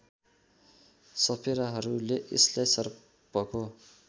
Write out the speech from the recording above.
सपेराहरूले यसलाई सर्पको